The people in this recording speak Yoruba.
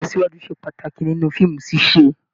Ìlọsíwájú se pàtàkì nínú fíìmù ṣiṣe.